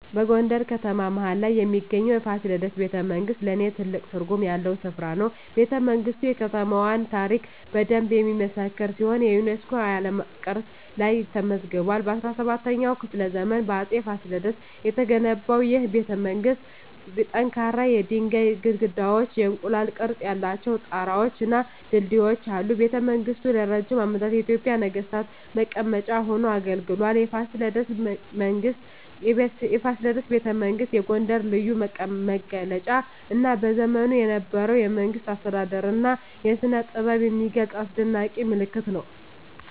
በጎንደር ከተማ መሀል ላይ የሚገኘው የፋሲለደስ ቤተመንግሥት ለኔ ትልቅ ትርጉም ያለው ስፍራ ነው። ቤተመንግስቱ የከተማዋን ታሪክ በደንብ የሚመሰክር ሲሆን የዩኔስኮ የዓለም ቅርስ ላይም ተመዝግቧል። በ17ኛው ክፍለ ዘመን በአፄ ፋሲለደስ የተገነባው ይህ ቤተመንግሥት ጠንካራ የድንጋይ ግድግዳዎች፣ የእንቁላል ቅርፅ ያላቸው ጣራወች እና ድልድዮች አሉት። ቤተመንግሥቱ ለረጅም ዓመታት የኢትዮጵያ ነገሥታት መቀመጫ ሆኖ አገልግሏል። የፋሲለደስ ቤተመንግሥት የጎንደርን ልዩ መገለጫ እና በዘመኑ የነበረውን የመንግሥት አስተዳደር እና ስነጥበብ የሚገልጽ አስደናቂ ምልክት ነው።